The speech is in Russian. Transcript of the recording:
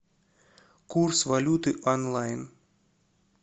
курс валюты онлайн